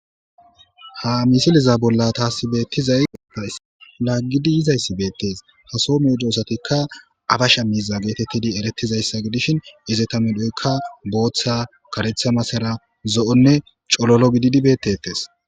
Ha misiliza bolla taasi beettizay laaggidi yizayssi beettes ha soo meedosatikka aabasha miiza geetettidi erettizayssa gidishin izeta medhoykka booththa kareththa masara zo'onne cololo gididi beettetes